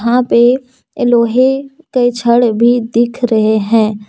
यहां पे ए लोहे के छड़ भी दिख रहे हैं।